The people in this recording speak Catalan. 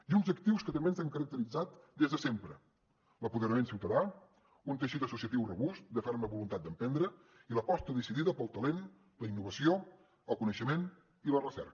i uns actius que també ens han caracteritzat des de sempre l’empoderament ciutadà un teixit associatiu robust de ferma voluntat d’emprendre i l’aposta decidida pel talent la innovació el coneixement i la recerca